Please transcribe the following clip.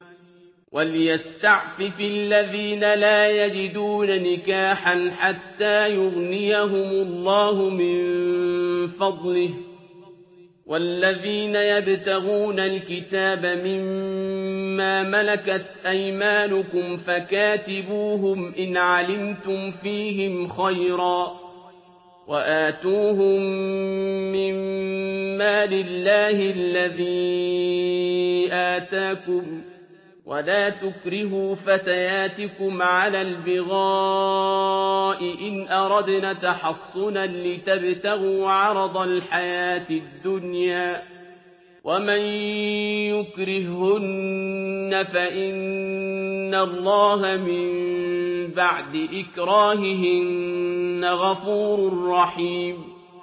وَلْيَسْتَعْفِفِ الَّذِينَ لَا يَجِدُونَ نِكَاحًا حَتَّىٰ يُغْنِيَهُمُ اللَّهُ مِن فَضْلِهِ ۗ وَالَّذِينَ يَبْتَغُونَ الْكِتَابَ مِمَّا مَلَكَتْ أَيْمَانُكُمْ فَكَاتِبُوهُمْ إِنْ عَلِمْتُمْ فِيهِمْ خَيْرًا ۖ وَآتُوهُم مِّن مَّالِ اللَّهِ الَّذِي آتَاكُمْ ۚ وَلَا تُكْرِهُوا فَتَيَاتِكُمْ عَلَى الْبِغَاءِ إِنْ أَرَدْنَ تَحَصُّنًا لِّتَبْتَغُوا عَرَضَ الْحَيَاةِ الدُّنْيَا ۚ وَمَن يُكْرِههُّنَّ فَإِنَّ اللَّهَ مِن بَعْدِ إِكْرَاهِهِنَّ غَفُورٌ رَّحِيمٌ